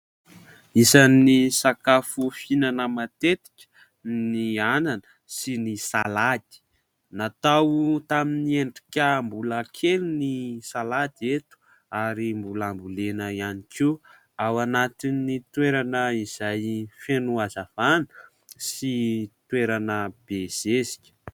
Isan'ny sakafo fihinana matetika ny anana sy ny salady natao tamin'ny endrika mbola kely ny salady eto ary mbola ambolena ihany koa ao anatin'ny toerana izay feno hazavana sy toerana be zezika